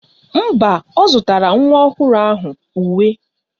Mba, ọ zụtara nwa ọhụrụ ahụ uwe